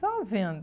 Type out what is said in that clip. Só vendo.